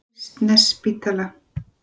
Kristnesspítala